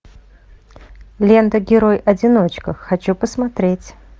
лента герой одиночка хочу посмотреть